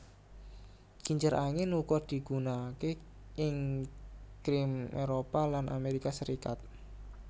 Kincir angin uga digunanaké ing Krim Éropah lan Amérika Serikat